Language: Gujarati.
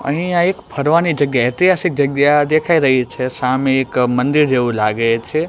અહીં આ એક ફરવાની જગ્યા ઐતિહાસિક જગ્યા દેખાય રહી છે સામે એક મંદિર જેવુ લાગે છે.